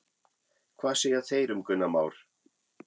Hvað segja þeir um Gunnar Már?